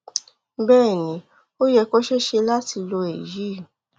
bẹẹ ni ó yẹ kó ṣeé ṣe láti lo èyí